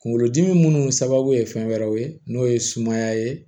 Kunkolodimi minnu sababu ye fɛn wɛrɛw ye n'o ye sumaya ye